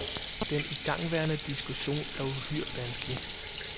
Den igangværende diskussion er uhyre vanskelig.